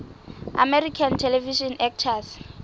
american television actors